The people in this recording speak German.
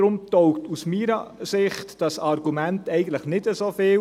Deshalb taugt dieses Argument aus meiner Sicht nicht so viel.